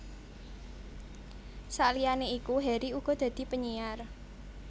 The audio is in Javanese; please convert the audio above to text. Saliyané iku Harry uga tau dadi penyiar